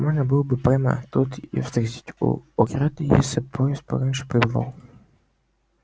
можно было бы прямо тут её встретить у ограды если б поезд пораньше прибывал